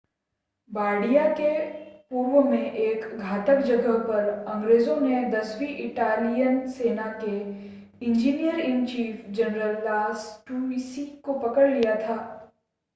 Bardia के पूर्व में एक घातक जगह पर अंग्रेज़ों ने दसवीं इटालियन सेना के इंजीनियर-इन-चीफ़ जनरल लास्टुसी को पकड़ लिया था